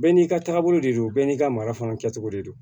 Bɛɛ n'i ka taagabolo de don bɛɛ n'i ka mara fana kɛcogo de don